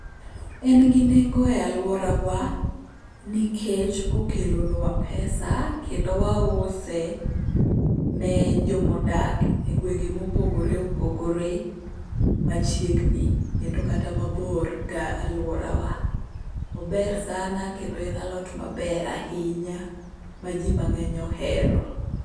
En gi nengo e alworawa, nikech okelonwa pesa kendo wause ne jomodak e gwenge mopogore opogore machiegni kendo kata mabor galworawa. Ober sana kendo en alot maber ahinya ma ji mang'eny ohero.